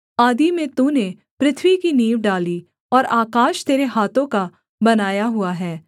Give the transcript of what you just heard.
आदि में तूने पृथ्वी की नींव डाली और आकाश तेरे हाथों का बनाया हुआ है